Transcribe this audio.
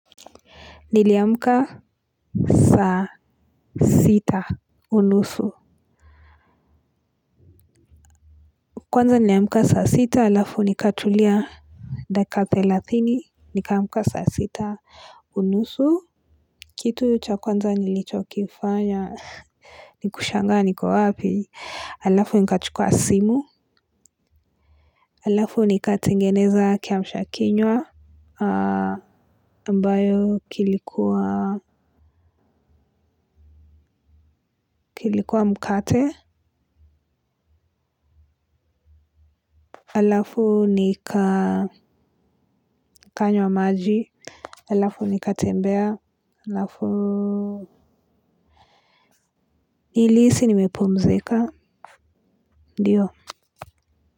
Niliamka saa sita unusu kwanza niliamka saa sita halafu nikatulia dakika thelathini. Nikamka saa sita unusu. Kitu cha kwanza nilicho kifanya. Nikushangaa niko wapi. Halafu nikachukua simu. Halafu nikatengeneza kiamsha kinywa. Ambayo kilikuwa mkate. Halafu nikanywa maji. Halafu nikatembea. Halafu nilihisi nimepumzika. Ndio.